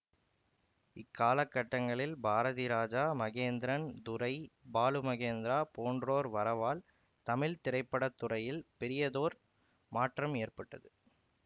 இக்காலக்கட்டங்களில் பாரதிராஜா மகேந்திரன் துரை பாலு மகேந்திரா போன்றோர் வரவால் தமிழ் திரைப்பட துறையில் பெரியதொரு மாற்றம் ஏற்பட்டது